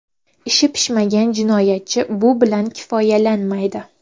Ishi pishmagan jinoyatchi bu bilan kifoyalanmaydi.